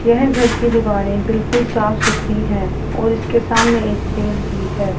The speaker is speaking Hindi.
यह घर की दीवारें बिल्कुल साफ सुथरी है और इसके सामने एक पेड़ भी है।